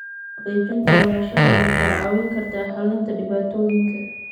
Xaqiijinta lahaanshaha waxay kaa caawin kartaa xalinta dhibaatooyinka.